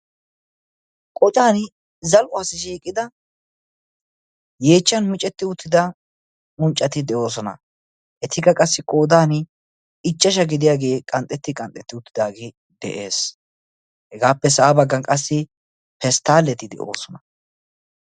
Qoccan zal'uwassi shiiqida yeechchan micceti uttida unccati de'oosona. etikka qassi qoodan ichashshai gidiyaagee qanxxeti qanxxetti uttidaagee de'ees. hegappe sa'a baggan pesttaleti de'oosona.